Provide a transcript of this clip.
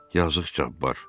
Yazıq Cabbar.